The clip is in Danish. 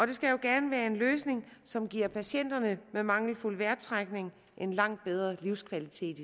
det skal jo gerne være en løsning som giver patienter med mangelfuld vejrtrækning en langt bedre livskvalitet